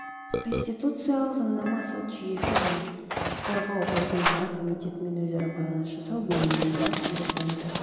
конституциалық заңнама сот жүйесі және құқық қорғау органдары комитетімен өзара байланыс жасау бөлімінің бас консультанты